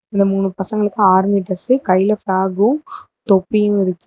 இந்த மூணு பசங்களுக்கு ஆர்மி ட்ரெஸ்சு கைல பிளாக்கு தொப்பியு இருக்கு.